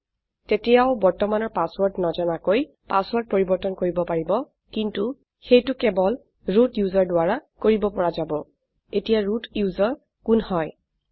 তেতিয়াও বৰ্তমানৰ পাছৱৰ্ৰদ নাজানাকৈ পাছৱৰ্ৰদ পৰিবৰ্তন কৰিব পাৰিব কিন্তু সেইটো কেবল ৰুট ওচেৰ দ্বাৰা কৰিব পৰা যাব এতিয়া ৰুট ওচেৰ কোন হয়160